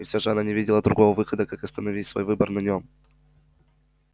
и совершенно не видела другого выхода как остановить свой выбор на нём